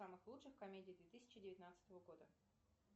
самых лучших комедий две тысячи девятнадцатого года